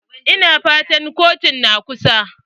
Ina fatan kotun na kusa?